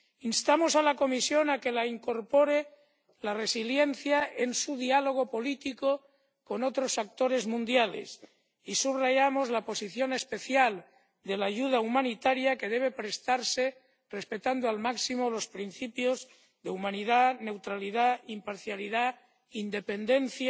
Instamos a la Comisión a que incorpore la resiliencia en su diálogo político con otros actores mundiales y subrayamos la posición especial de la ayuda humanitaria, que debe prestarse respetando al máximo los principios de humanidad, neutralidad, imparcialidad, independencia